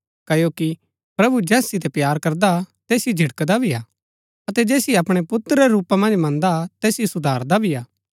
क्ओकि प्रभु जैस सितै प्‍यार करदा हा तैसिओ झिड़कदा भी हा अतै जैसिओ अपणै पुत्र रै रूपा मन्ज मन्दा हा तैसिओ सुधारदा भी हा